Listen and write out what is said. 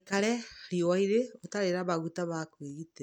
Ndũgaikare riũani rĩhiũ ũtarĩ na maguta ma kũĩgitĩra.